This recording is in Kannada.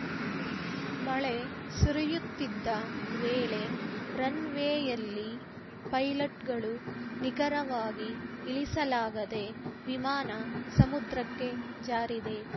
ಮಳೆ ಸುರಿಯುತ್ತಿದ್ದ ವೇಳೆ ರನ್‌ವೇಯಲ್ಲಿ ಪೈಲಟ್‌ಗಳು ನಿಖರವಾಗಿ ಇಳಿಸಲಾಗದೆ ವಿಮಾನ ಸಮುದ್ರಕ್ಕೆ ಜಾರಿದೆ